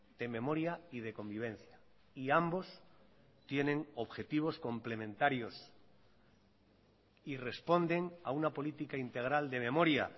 de memoria y de convivencia y ambos tienen objetivos complementarios y responden a una política integral de memoria